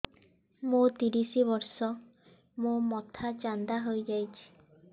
ମୋ ତିରିଶ ବର୍ଷ ମୋ ମୋଥା ଚାନ୍ଦା ହଇଯାଇଛି